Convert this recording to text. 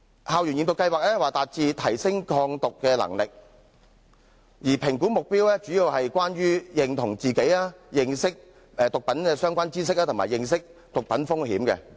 校園驗毒計劃旨在提升學生的抗毒能力，而評估目標主要針對自我認同、認識毒品的相關知識及認識毒品的風險。